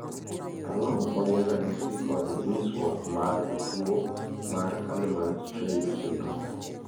Ang'o ma gin ranyisi kod nyisruok mag tuo mar Hallermann Streiff syndrome?